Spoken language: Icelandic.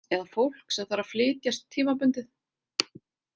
Eða fólk sem þarf að flytja tímabundið.